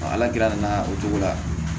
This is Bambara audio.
ala gɛrɛ na o cogo la